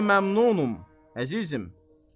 Xeyli məmnunam, əzizim.